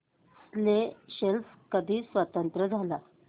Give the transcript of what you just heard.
Seychelles कधी स्वतंत्र झाला